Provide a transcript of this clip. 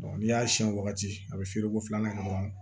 n'i y'a siɲɛ wagati a bɛ feere ko filanan kɛ dɔrɔn